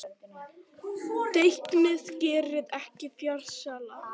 þekkingin gerir menn frjálsa